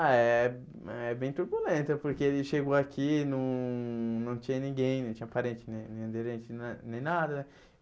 Ah, é é bem turbulenta, porque ele chegou aqui, não não tinha ninguém, não tinha parente, nem nem aderente, na nem nada.